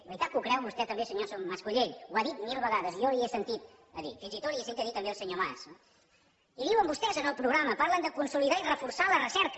veritat que ho creu vostè també senyor mas colell ho ha dit mil vegades i jo li he sentit a dir fins i tot li ho he sentit dir també al senyor mas no i diuen vostès en el programa parlen de consolidar i reforçar la recerca